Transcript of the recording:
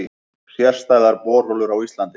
Sérstæðar borholur á Íslandi